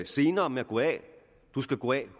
senere med at gå af du skal gå af